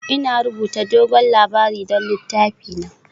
Ina rubuta dogon labari don littafina